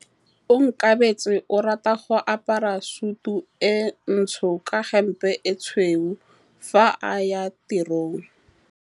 Onkabetse o rata go apara sutu e ntsho ka hempe e tshweu fa a ya tirong.